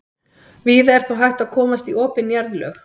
víða er þó hægt að komast í opin jarðlög